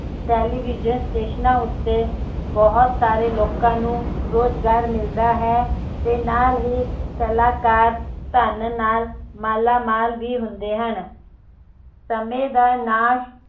television station ਉਤੇ ਬਹੁਤ ਸਾਰੇ ਲੋਕਾਂ ਨੂੰ ਰੋਜਗਾਰ ਮਿਲਦਾ ਹੈ ਤੇ ਨਾਲ ਹੀ ਕਲਾਕਾਰ ਧੰਨ ਨਾਲ ਮਾਲਾਮਾਲ ਵੀ ਹੁੰਦੇ ਹਨ ਸਮੇਂ ਦਾ ਨਾਸ਼